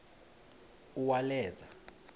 uwaleza